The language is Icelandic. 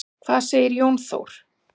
Hvað segir Jón Þór?